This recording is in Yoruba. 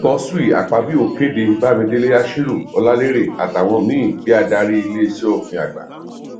godswill akpabio kéde bámidélé àshírù ọlàlérè àtàwọn míì bí adarí ilé asòfin àgbà